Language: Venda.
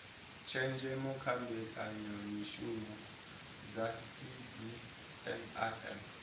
tshenzhemo kha mbekanyamishumo dza cbnrm